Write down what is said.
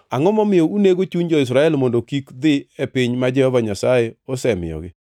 Angʼo momiyo unego chuny jo-Israel mondo kik dhi e piny ma Jehova Nyasaye osemiyogi?